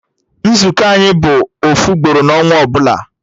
Nzukọ anyị bụ ofu ugboro na ọnwa ọbụla